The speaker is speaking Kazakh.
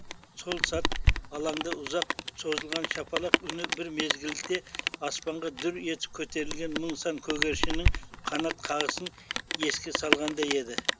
сол сәт алаңда ұзақ созылған шапалақ үні бір мезгілде аспанға дүр етіп көтерілген мың сан көгершіннің қанат қағысын еске салғандай еді